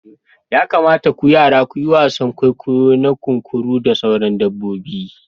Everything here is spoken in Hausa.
Ya kamata ku yara ku yi wasan kwaikwayo na kunkuru da sauran dabbobi.